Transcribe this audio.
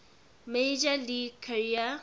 major league career